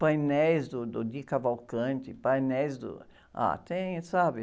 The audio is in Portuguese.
Painéis do, do Di Cavalcanti, painéis do... Ah, tem, sabe?